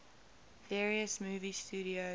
various movie studios